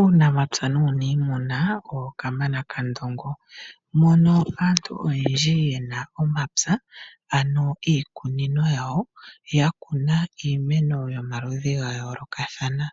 Uunamapya nuunimuna owo Kamana Kandongo, mono aantu oyendji yena omapya ano iikunino yawo, yakuna iimeno yomaludhi gayoolokathana.